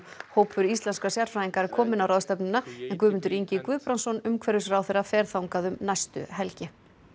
hópur íslenskra sérfræðinga er kominn á ráðstefnuna en Guðmundur Ingi Guðbrandsson umhverfisráðherra fer þangað um næstu helgi